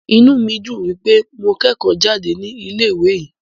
Inú mí dùn wípé mo kẹ́kọ̀ọ́ jáde ní ilé ìwé yìí.